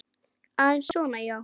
Aðeins svona, já.